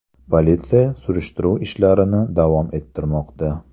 Politsiya surishtiruv ishlarini davom ettirmoqda.